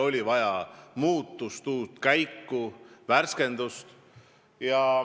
Oli vaja muutust, uut käiku, värskendust.